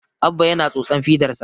Abba yana tsotsan fidarsa